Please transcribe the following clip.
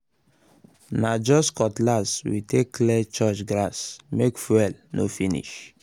na just cutlass we take um clear church grass—make fuel no finish